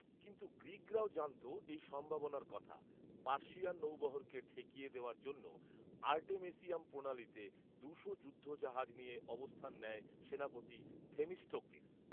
কিন্তু গ্রীকরাও জানত এই সম্ভাবনার কথা, পার্সিয়ান নৌবহরকে ঠেকিয়ে দেওয়ার জন্য আর্টেমেসিয়াম প্রণালীতে দুশো যুদ্ধ জাহাজ নিয়ে অবস্থান নেয় সেনাপতি 'থেমিস্টোক্লিস'